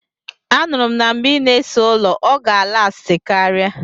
Anuru m na mgbe ị na-ese ụlọ, ọ ga alasti karia.